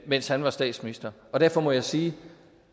mens han var statsminister derfor må jeg sige